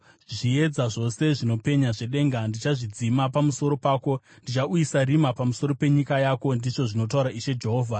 Zviedza zvose zvinopenya zvedenga ndichazvidzima pamusoro pako; ndichauyisa rima pamusoro penyika yako, ndizvo zvinotaura Ishe Jehovha.